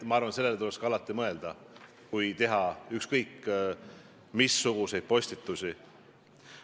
Ma arvan, et sellele tuleks ka alati mõelda, kui teha ükskõik missuguseid postitusi.